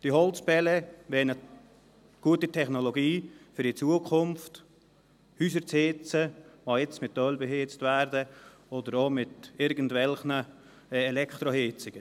Die Holzpellets wären eine gute Technologie, um in Zukunft Häuser zu heizen, die jetzt mit Öl oder auch mit irgendwelchen Elektroheizungen beheizt werden.